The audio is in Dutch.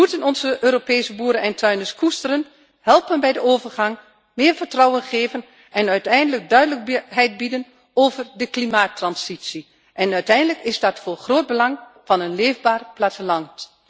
We moeten onze Europese boeren en tuinders koesteren, helpen bij de overgang, meer vertrouwen geven en uiteindelijk duidelijk bieden over de klimaattransitie. Uiteindelijk is dat van groot belang voor een leefbaar platteland.